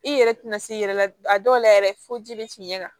I yɛrɛ tɛna se i yɛrɛ la a dɔw la yɛrɛ fo ji bɛ fiɲɛ kan